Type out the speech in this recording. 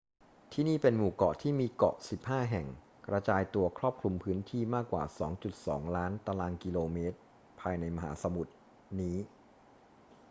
ที่นี่เป็นหมู่เกาะที่มีเกาะ 15 แห่งกระจายตัวครอบคลุมพื้นที่มากกว่า 2.2 ล้านตารางกิโลเมตรภายในมหาสมุทรนี้